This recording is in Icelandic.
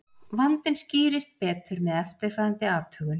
Vandinn skýrist betur með eftirfarandi athugun.